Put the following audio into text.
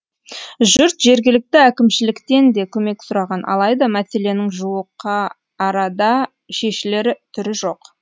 жұрт жергілікті әкімшіліктен де көмек сұраған алайда мәселенің жуықа арада шешілер түрі жоқ